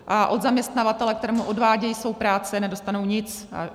A od zaměstnavatele, kterému odvádějí svou práci, nedostanou nic.